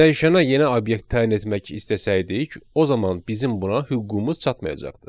Dəyişənə yeni obyekt təyin etmək istəsəydik, o zaman bizim buna hüququmuz çatmayacaqdı.